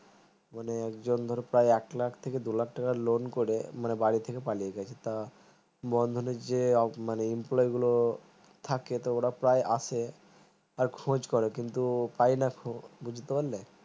মানে একজন প্রায় ধরো এক লাখ থেকে দুই লাখ টাকা loan করে মানে বাড়ি থেকে পালিয়ে গাছে তা বন্ধনের যে মানে employee গুলো থাকে তো ওরা প্রায় আসে আর খোঁজ করে কিন্তু পাইনা খো বুঝতে পারলে